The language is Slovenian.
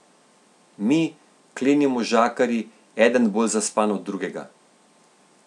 Mi, kleni možakarji, eden bolj zaspan od drugega!